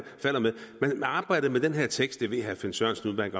med man arbejdede med den her tekst det ved herre finn sørensen